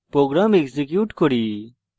program execute করি